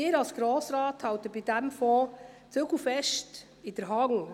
Sie als Grosser Rat halten bei diesem Fonds die Zügel fest in der Hand.